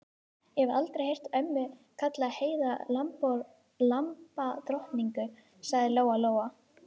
Ég hef aldrei heyrt ömmu kalla Heiðu lambadrottningu, sagði Lóa-Lóa.